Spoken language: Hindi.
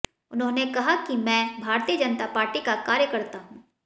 उन्होंने कहा की मैं भारतीय जनता पार्टी का कार्यकर्ता हूं